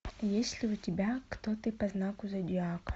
есть ли у тебя кто ты по знаку зодиака